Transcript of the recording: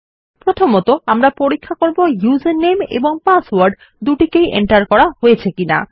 প্রথমতঃ আমরা পরীক্ষা করব উসের নামে এবং পাসওয়ার্ড দুটি ই enter করা হয়েছে কিনা